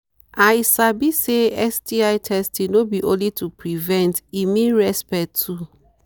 i sabi say sti testing no be only to prevent e mean respect too